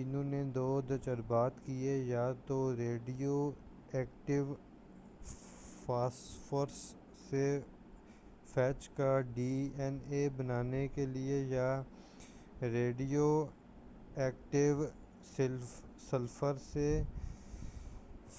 انہوں نے دو تجربات کئے یا تو ریڈیو ایکٹیو فاسفورس سے فیج کا ڈی آین اے بنانے کے لئے یا ریڈیو ایکٹیو سلفر سے